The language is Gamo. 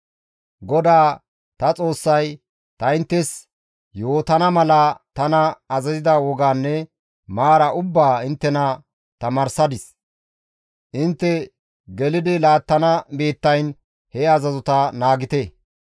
«GODAA ta Xoossay ta inttes yootana mala tana azazida wogaanne maara ubbaa inttena tamaarsadis; intte gelidi laattana biittayn he azazota naagite.